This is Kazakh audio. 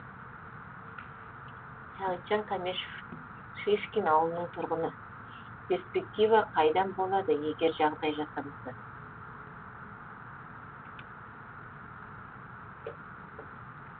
сағитжан кәмешов шишкин ауылының тұрғыны перспектива қайдан болады егер жағдай жасамаса